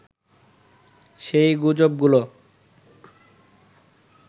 সেই গুজবগুলো